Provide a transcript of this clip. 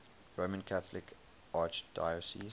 roman catholic archdiocese